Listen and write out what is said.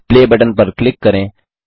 play button पर click करें